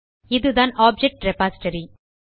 இதுதான் object repository